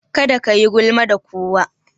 Kada kayi gulma da kowa.